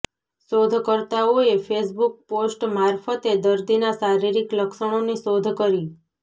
શોધકર્તાઓએ Facebook post મારફતે દર્દીના શારીરિક લક્ષણોની શોધ કરી